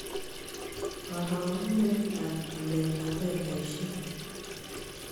Karogunetap waletap fedhaisyek chu